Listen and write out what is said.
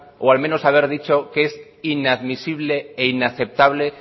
o al menos haber dicho que inadmisible e inaceptable